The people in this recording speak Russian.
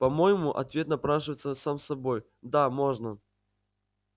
по-моему ответ напрашивается сам собой да можно